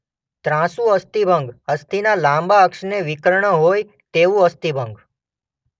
ત્રાંસું અસ્થિભંગ અસ્થિના લાંબા અક્ષને વિકર્ણ હોય તેવું અસ્થિભંગ.